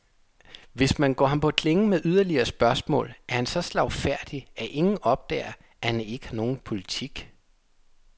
Hvis man går ham på klingen med yderligere spørgsmål, er han så slagfærdig, at ingen opdager, at han ikke har nogen politik.